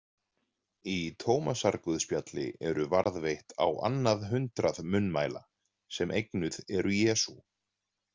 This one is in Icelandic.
Í Tómasarguðspjalli eru varðveitt á annað hundrað munnmæla sem eignuð eru Jesú.